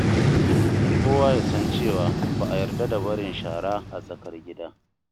Kowa ya san cewa ba a yarda da barin shara a tsakar gida.